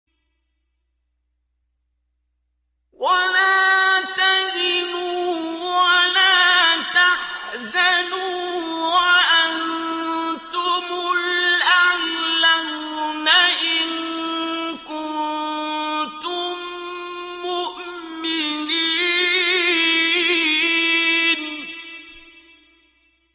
وَلَا تَهِنُوا وَلَا تَحْزَنُوا وَأَنتُمُ الْأَعْلَوْنَ إِن كُنتُم مُّؤْمِنِينَ